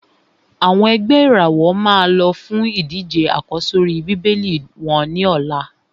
Àwọn ẹ̀gbẹ́ ìràwọ̀ máa lọ fún ìdíje àkọ́sórí Bíbélì wọ́n ní ọ̀la.